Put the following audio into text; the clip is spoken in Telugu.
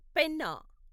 పెన్నా